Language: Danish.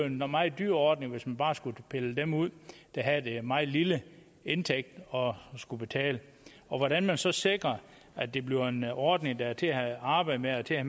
en meget dyr ordning hvis man bare skulle pille dem ud der havde den meget lille indtægt og skulle betale hvordan man så sikrer at det bliver en ordning der er til at arbejde med og til at